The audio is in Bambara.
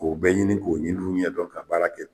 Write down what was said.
K'o bɛɛ ɲini k'o ɲiniw ɲɛdɔn ka baara kɛ.